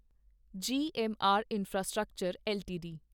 GMR infrastructure LTD